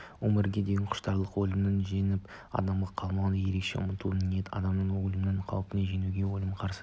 өмірге деген құштарлық өлімді жеңіп аман қалуға ерекше ұмтылу ниеті адамды өлім қаупін жеңуге өлімге қарсы